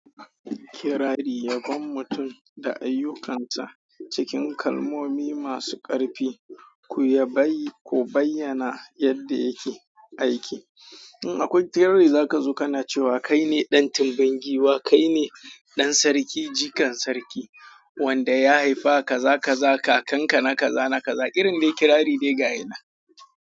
Kirari yagon mutum da ayyukansa cikin kalmomi masu ƙarfi, ku ya bayi, ku bayyana yadda yake aiki. In akwai kirari za ka zo kana cewa kaine ɗan Timbangiwa, kaine ɗan sarki, jikan sarki wanda ya haife ka, za ka za kakanka na ka za na ka za, irin dai kirari dai gaya na.